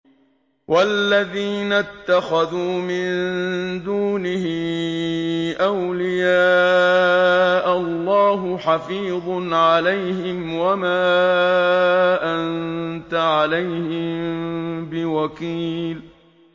وَالَّذِينَ اتَّخَذُوا مِن دُونِهِ أَوْلِيَاءَ اللَّهُ حَفِيظٌ عَلَيْهِمْ وَمَا أَنتَ عَلَيْهِم بِوَكِيلٍ